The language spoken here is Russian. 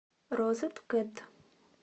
розеткед